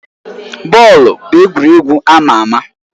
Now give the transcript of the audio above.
Bọọlụ bụ egwuregwu ama ama.